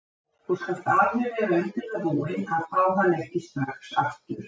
Þú skalt alveg vera undir það búin að fá hann ekki strax aftur.